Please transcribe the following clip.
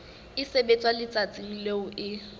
e sebetswa letsatsing leo e